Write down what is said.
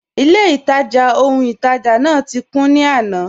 Ilẹ̀-ìtajá ọhun-ìtajá náà ti kùn ní àná.